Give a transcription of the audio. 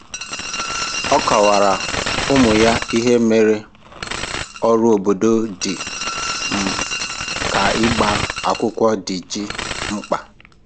Ọ kọwara ụmụ ya ihe mere ọrụ obodo dị um ka ịgba akwụkwọ ji dị mkpa.